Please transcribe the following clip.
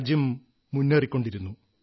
രാജ്യം മുന്നേറിക്കൊണ്ടിരുന്നു